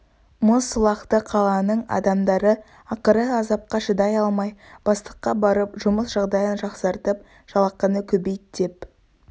мұз сылақты қаланың адамдары ақыры азапқа шыдай алмай бастыққа барып жұмыс жағдайын жақсартып жалақыны көбейт деп